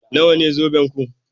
Nawa ne zobenku?